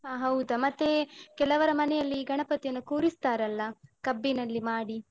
ಆ ಹೌದಾ. ಮತ್ತೆ ಕೆಲವರ ಮನೆಯಲ್ಲಿ ಗಣಪತಿಯನ್ನು ಕೂರಿಸ್ತಾರಲ್ಲ ಕಬ್ಬಿನಲ್ಲಿ ಮಾಡಿ.